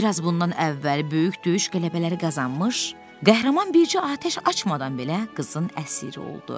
Biraz bundan əvvəl böyük döyüş qələbələri qazanmış qəhrəman bircə atəş açmadan belə qızın əsiri oldu.